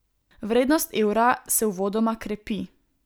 Vrednost evra se uvodoma krepi.